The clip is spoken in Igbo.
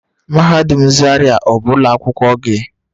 Mahadum zaria ọ bụ ụlọ akwụkwọ gị?